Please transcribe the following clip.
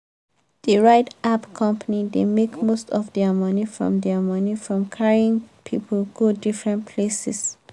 the ride app company dey make most of their money from their money from carrying people go different places.